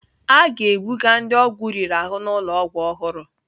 A ga-ebuga ndị ọgwụ riri ahụ n'ụlọ ọgwụ ọhụrụ.